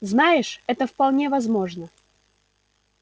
знаешь это вполне возможно